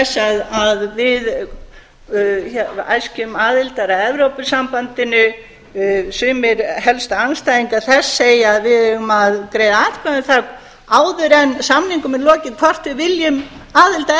þess að við æskjum aðildar að evrópusambandinu sumir helstu andstæðingar þess segja að við eigum að greiða atkvæði um það áður en samningum er lokið hvort við viljum aðild að